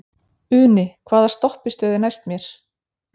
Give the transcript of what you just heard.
Uni, hvaða stoppistöð er næst mér?